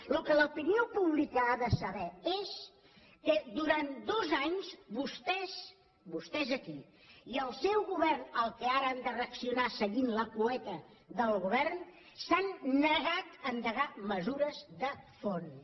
el que l’opinió pública ha de saber és que durant dos anys vostès vostès aquí i el seu govern al qual ara han de reaccionar seguint la cueta del govern s’han negat a endegar mesures de fons